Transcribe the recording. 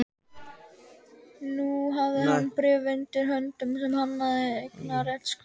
Nú hafði hann bréf undir höndum sem sannaði eignarrétt Skálholts.